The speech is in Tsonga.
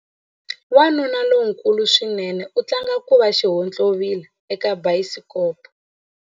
Wanuna lonkulu swinene u tlanga ku va xihontlovila eka bayisikopo.